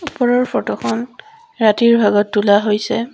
ওপৰৰ ফটো খন ৰাতিৰ ভাগত তোলা হৈছে।